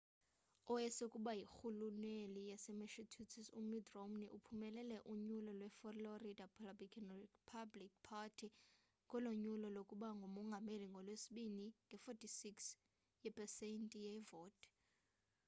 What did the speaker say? owayesakuba yirhuluneli yasemassachusetts umitt romney uphumelele unyulo lwe-florida republican party ngolo nyulo lokuba ngumongameli ngolwesibini nge-46 yepesenti yevoti